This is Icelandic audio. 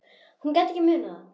Hún gat ekki munað það.